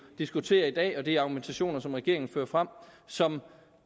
diskuterer i dag og de argumentationer som regeringen fører frem som